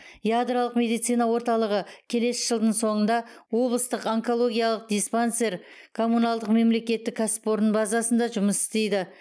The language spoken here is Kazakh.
ядролық медицина орталығы келесі жылдың соңында облыстық онкологиялық диспансер коммуналдық мемлекеттік кәсіпорын базасында жұмыс істейді